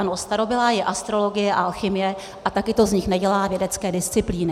Ano, starobylá je astrologie a alchymie a také to z nich nedělá vědecké disciplíny.